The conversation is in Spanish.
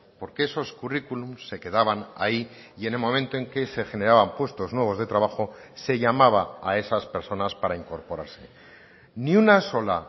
porque esos currículums se quedaban ahí y en el momento en que se generaban puestos nuevos de trabajo se llamaba a esas personas para incorporarse ni una sola